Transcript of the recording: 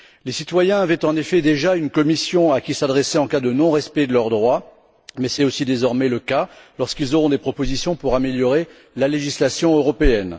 Les citoyens savaient en effet déjà à quelle commission s'adresser en cas de non respect de leurs droits, mais c'est aussi désormais le cas lorsqu'ils auront des propositions pour améliorer la législation européenne.